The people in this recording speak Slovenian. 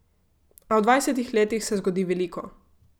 A v dvajsetih letih se zgodi veliko.